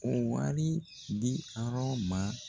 O wari di arɔn ma